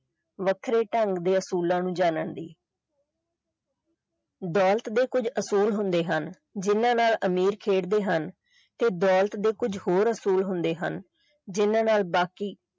ਵੱਖਰੇ ਢੰਗ ਦੇ ਅਸੂਲਾਂ ਨੂੰ ਜਾਣਨ ਦੀ ਦੌਲਤ ਦੇ ਕੁਝ ਅਸੂਲ ਹੁੰਦੇ ਹਨ ਜਿੰਨਾ ਨਾਲ ਅਮੀਰ ਖੇਡ ਦੇ ਹਨ ਤੇ ਦੌਲਤ ਦੇ ਕੁਝ ਹੋਰ ਅਸੂਲ ਹੁੰਦੇ ਹਨ ਜਿੰਨਾ ਨਾਲ ਬਾਕੀ।